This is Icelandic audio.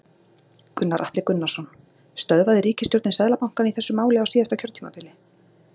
Gunnar Atli Gunnarsson: Stöðvaði ríkisstjórnin Seðlabankann í þessu máli á síðasta kjörtímabili?